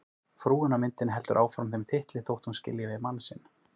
Frúin á myndinni heldur áfram þeim titli þótt hún skilji við mann sinn.